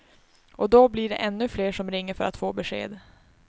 Och då blir det ännu fler som ringer för att få besked.